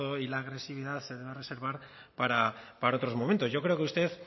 y la agresividad se deba reservar para otros momentos yo creo que usted